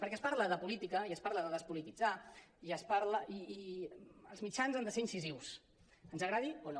perquè es parla de política i es parla de despolititzar i els mitjans han de ser incisius ens agradi o no